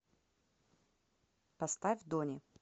поставь дони